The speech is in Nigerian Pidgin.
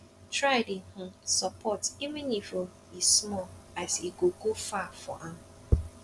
try dey um sopport even if um e small as e go go far for am